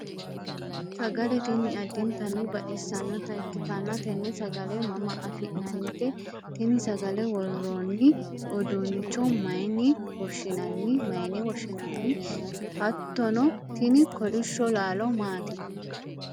sagale tini addintanni basxissanota ikkitanna, tenne sagale mama anfannite? tini sagale worroonni uduunicho mayiine woshshinanni? hattono tini kolishsho laalo maati?